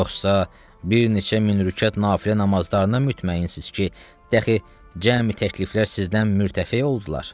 Yoxsa bir neçə min rükət nafilə namazlarına mütməyinsiz ki, dəxi cəmi təkliflər sizdən mürtəfə oldular?